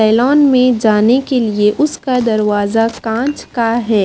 Salon में जाने के लिए उसका दरवाजा कांच का है।